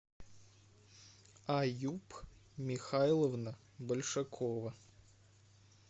аюб михайловна большакова